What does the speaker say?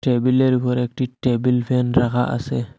টেবিলের উফর একটি টেবিল ফ্যান রাখা আসে।